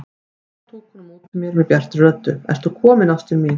Þá tók hún á móti mér bjartri röddu: Ertu kominn ástin mín!